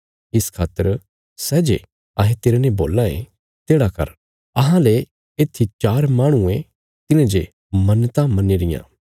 इस खातर सै जे अहें तेरने बोलां ये तेढ़ा कर अहांले येत्थी चार माहणुये तिन्हें जे मन्नतां मन्नी रियां